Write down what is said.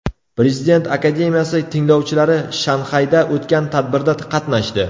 Prezident akademiyasi tinglovchilari Shanxayda o‘tgan tadbirda qatnashdi.